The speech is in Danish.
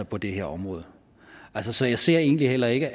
på det her område så så jeg ser egentlig heller ikke